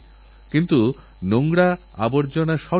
এঁরা আদতে ভারতীয় কিন্তুসেখানে গিয়ে সেখানকারই হয়ে গেছেন